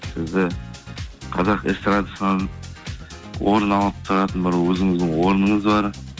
сізді қазақ эстрадасынан орын алып тұратын бір өзіңіздің орныңыз бар